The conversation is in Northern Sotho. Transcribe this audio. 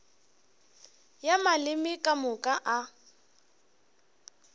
ya maleme ka moka a